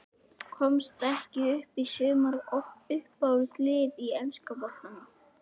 Komast ekki upp í sumar Uppáhalds lið í enska boltanum?